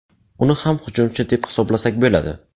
Uni ham hujumchi deb hisoblasak bo‘ladi.